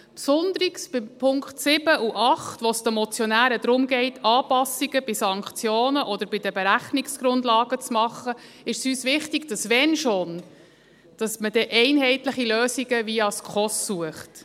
Besonders bei den Punkten 7 und 8, wo es den Motionären darum geht, Anpassungen bei Sanktionen oder bei den Berechnungsgrundlagen zu machen, ist es uns wichtig, dass man – wenn schon dann – einheitliche Lösungen via SKOS sucht.